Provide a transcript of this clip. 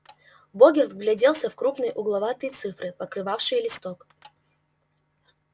богерт вгляделся в крупные угловатые цифры покрывавшие листок